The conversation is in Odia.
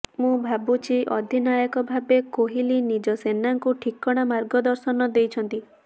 ମୁଁ ଭାବୁଛି ଅଧିନାୟକ ଭାବେ କୋହଲି ନିଜ ସେନାଙ୍କୁ ଠିକଣା ମାର୍ଗଦର୍ଶନ ଦେଇଛନ୍ତି